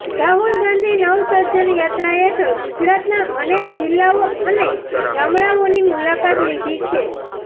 રાહુલ ગાંધી નવસર્જન યાત્રા હેઠળ ગુજરાતના અનેક જિલ્લાઓ અને ગામડાઓની મુલાકાત લીધી છે